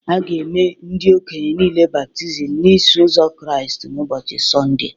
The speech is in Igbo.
A ga-eme ndị okenye niile baptizim n’Iso Ụzọ Kraịst n’ụbọchị Sọnde